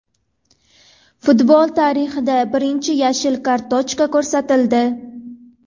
Futbol tarixida birinchi yashil kartochka ko‘rsatildi.